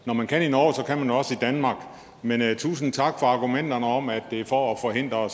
når man kan i norge kan man også i danmark men tusind tak for argumenterne om at det er for at forhindre